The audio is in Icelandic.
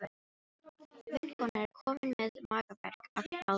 Vinkonan er komin með magaverk af hlátri.